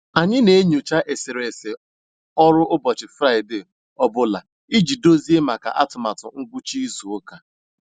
Anyị n'enyocha eserese ọlụ ụbọchị Fraịde ọ bụla iji dozie maka atụmatụ ngwucha izu ụka.